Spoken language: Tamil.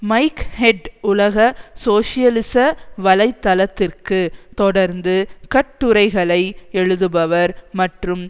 மைக் ஹெட் உலக சோசியலிச வலை தளத்திற்கு தொடர்ந்து கட்டுரைகளை எழுதுபவர் மற்றும்